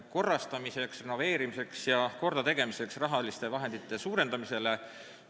Kahe käega ja võib-olla veel rohkemaga kirjutan ma nendele alla.